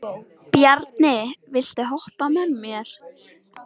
Bjarni, viltu hoppa með mér?